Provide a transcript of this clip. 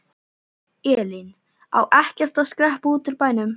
Elín: Á ekkert að skreppa út úr bænum?